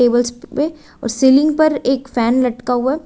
और सीलिंग पर एक फैन लटका हुआ है।